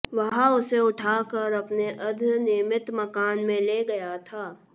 वह उसे उठाकर अपने अर्द्धनिर्मित मकान में ले गया था